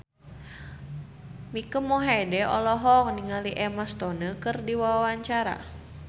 Mike Mohede olohok ningali Emma Stone keur diwawancara